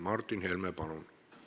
Martin Helme, palun!